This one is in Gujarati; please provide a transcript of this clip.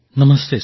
નમસ્તે સર